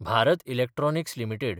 Bharat electronics limited